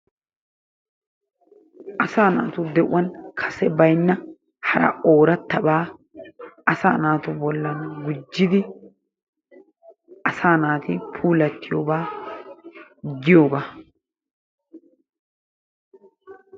Asaa naatu de'uwan kase baynna hara oorattaba asaa naatu bollan gujjidi asaa naati puulattiyooga giyogaa.